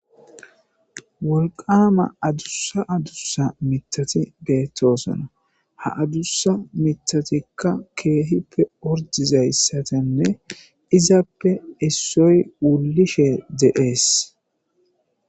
Wolqama adussa adussa mitati deettosona ha adussa mitatikka keehippe ordizayssatenne izappe issoy wulishe deees.